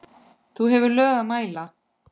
þú hefur lög að mæla